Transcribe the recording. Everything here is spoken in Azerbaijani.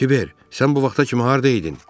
Kiber, sən bu vaxta kimi harda idin?